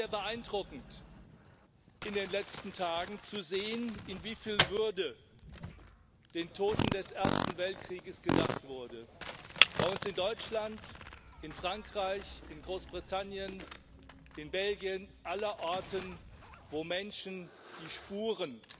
Ja, es war sehr beeindruckend, in den letzten Tagen zu sehen, in wie viel Würde der Toten des Ersten Weltkriegs gedacht wurde bei uns in Deutschland, in Frankreich, in Großbritannien, in Belgien, allerorten, wo Menschen die Spuren